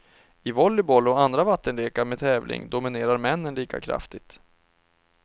I volleyboll och andra vattenlekar med tävling dominerar männen lika kraftigt.